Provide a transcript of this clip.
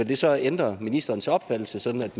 det så ændre ministerens opfattelse sådan at